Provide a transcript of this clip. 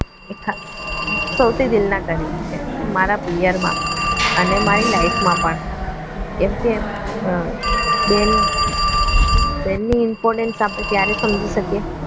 એ ખા સૌથી દિલના કરીબ છે મારા પિયરમાં અને મારી life મા પણ કેમ કે બેન બેનનું importance ત્યારે સમજી શકીએ